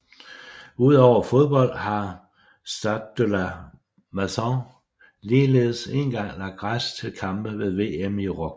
Udover fodbold har Stade de la Mosson ligeledes én gang lagt græs til kampe ved VM i rugby